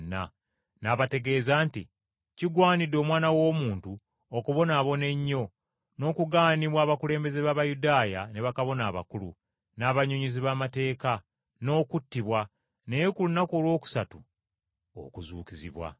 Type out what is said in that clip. n’abategeeza nti, “Kigwanidde, Omwana w’Omuntu, okubonaabona ennyo, n’okugaanibwa abakulembeze b’Abayudaaya, ne bakabona abakulu, n’abannyonnyozi b’amateeka, n’okuttibwa, naye ku lunaku olwokusatu okuzuukizibwa!”